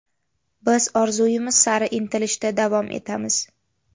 Biz orzuyimiz sari intilishda davom etamiz.